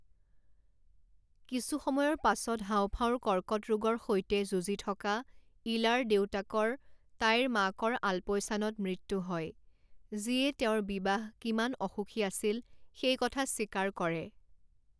কিছু সময়ৰ পাছত হাওঁফাওঁৰ কৰ্কট ৰোগৰ সৈতে যুঁজি থকা ইলাৰ দেউতাকৰ তাইৰ মাকৰ আলপৈচানত মৃত্যু হয় যিয়ে তেওঁৰ বিবাহ কিমান অসুখী আছিল সেই কথা স্বীকাৰ কৰে।